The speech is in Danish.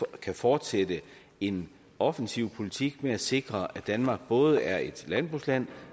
kan fortsætte en offensiv politik med at sikre at danmark både er et landbrugsland